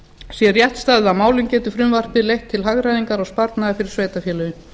sé rétt staðið að málum getur frumvarpið leitt til hagræðingar og sparnaðar fyrir sveitarfélögin